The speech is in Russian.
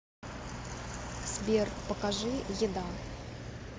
сбер покажи еда